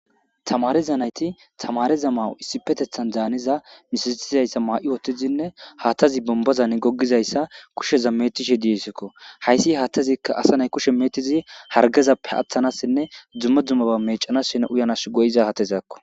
Tamareza nayti tamareza mawu issi petethan zaaniza misistizayssa maa'i wotizinne haattazi bombazani goggizayssa kusheza metishe disekko hayssi haattazikka asanay kushe meetizi hargezappe aththanassinne dumma dummaba mecanassine uyanas go7iza hatezakko.